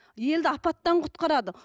елді апаттан құтқарады